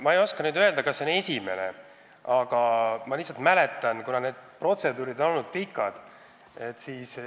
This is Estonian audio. Ma ei oska öelda, kas see on esimene säärane juhtum, aga ma mäletan teemaga seotud pikki protseduure.